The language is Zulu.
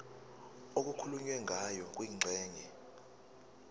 okukhulunywe ngayo kwingxenye